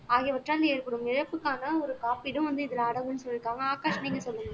ஆகியவற்றால் ஏற்படும் இழப்புக்கான ஒரு காப்பீடும் வந்து இதுல அடங்கும்ன்னு சொல்லியிருக்காங்க ஆகாஷ் நீங்க சொல்லுங்க